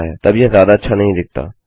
तब यह ज्यादा अच्छा नहीं दिखता